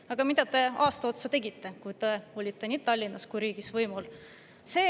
Aga mida te aasta otsa tegite, kui te olite nii Tallinnas kui ka riigis võimul?